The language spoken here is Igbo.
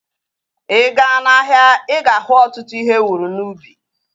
Ịga n'ahia, ịga ahu ọtụtụ ihe ewuru n'ubi